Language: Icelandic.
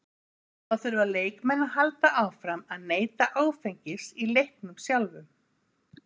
Þá þurfa leikmenn að halda áfram að neyta áfengis í leiknum sjálfum.